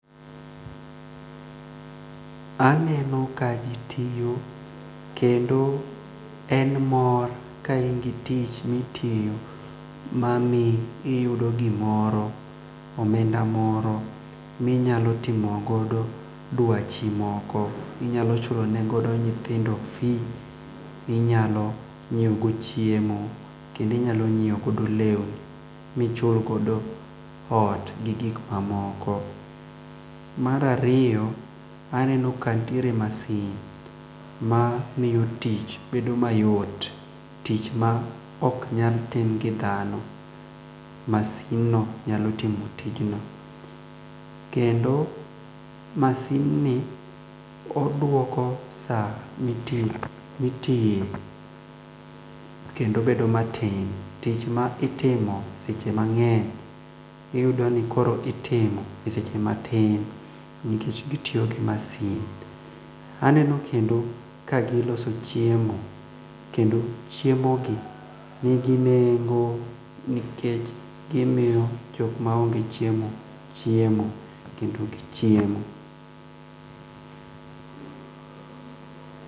Aneno ka ji tiyo kendo en mor ka in gi tich mitiyo ma miyi iyudo gimoro omenda moro minyalo timo godo dwachi moko inyalo chulo ne godo nyithondo fee inyalo nyieo go chiemo, kendoinyalo nyieo godo lewni mi chul godo ot gi gik ma moko mar ariyo aneno ka nitiere masin ma miyo tich bedo mayot tich ma oknyal tim gi dhano masimno nyalo timo tijni kendo masini odwoko saa mitiyo kendo bedo matin tich ma itimo seche mang'eny iyudo ni koro itimo gi seche matin nikech gitiyo gi masin, aneno kendo ka giloso chiemo kendo chiemo gi ni gi nengo nikech gimiyo joma ong'e chiemo chiemo kendo gichiemo.